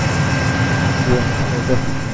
હા સાચી વાત છે અતો